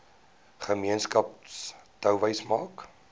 gemeenskap touwys maak